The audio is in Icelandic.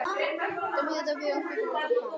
Kær kveðja, Dóra litla frænka.